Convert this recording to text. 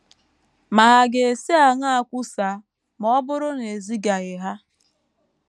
ma hà ga - esi aṅaa kwusaa, ma ọ bụrụ na e zigaghị ha?